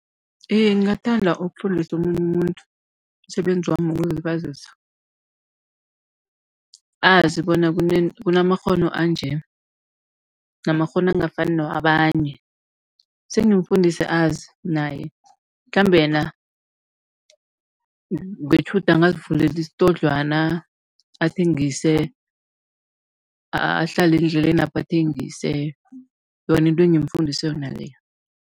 Iye, ngingathanda ukufundisa omunye umuntu umsebenzi wami wokuzilibazisa, azi bona kunamakghono anje namakghono angafani newabanye. Sengimfundise azi naye, mhlambe yena ngetjhudu angazivulela isitodlwana athengise, ahlale endlelenapho athengise yona into engimfundise yona leyo.